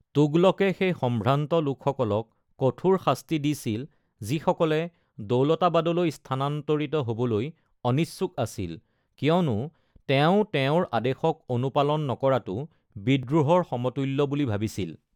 তুগলকে সেই সম্ভ্ৰান্ত লোকসকলক কঠোৰ শাস্তি দিছিল যিসকলে দৌলতাবাদলৈ স্থানান্তৰিত হ’বলৈ অনিচ্ছুক আছিল, কিয়নো তেওঁ তেওঁৰ আদেশক অনুপালন নকৰাটো বিদ্ৰোহৰ সমতু্ল্য বুলি ভাবিছিল।